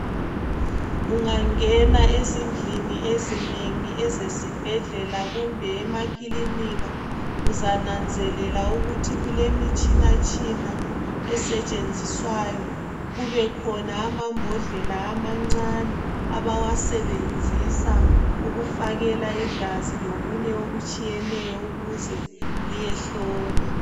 Ungangena ezindlini ezinengi ezesibhedlela kumbe emakilinika uzananzelela ukuthi kulemitshina tshina esetshenziswayo kubekhona amambodlela amancane abawasebenzisa ukufakela igazi lokunye okutshiyeneyo ukuze liyehlolwa.